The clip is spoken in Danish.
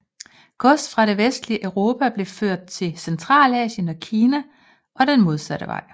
Gods fra det vestlige Europa blev ført til Centralasien og Kina og den modsatte vej